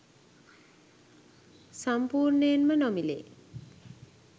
සම්පූර්ණයෙන්ම නොමිලේ